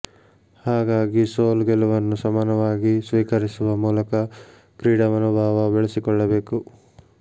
ಹಾಗಾಗಿ ಸೋಲು ಗೆಲುವನ್ನು ಸಮಾನವಾಗಿ ಸ್ವೀಕರಿಸುವ ಮೂಲಕ ಕ್ರೀಡಾ ಮನೋಭಾವ ಬೆಳೆಸಿಕೊಳ್ಳಬೇಕು